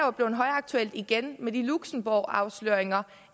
er blevet højaktuelt igen med luxembourgafsløringerne